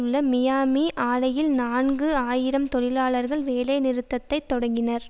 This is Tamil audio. உள்ள மியாமி ஆலையில் நான்கு ஆயிரம் தொழிலாளர்கள் வேலைநிறுத்தத்தை தொடங்கினர்